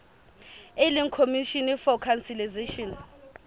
e leng commission for conciliation